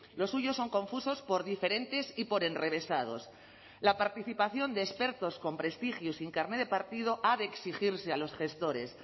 los suyos son confusos por diferentes y por enrevesados la participación de expertos con prestigio y sin carné de partido ha de exigirse a los gestores